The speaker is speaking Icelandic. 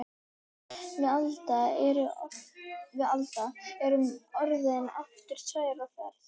Við Alda erum aftur orðnar tvær á ferð.